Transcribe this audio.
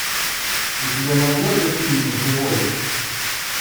у тебя найдется фильм живой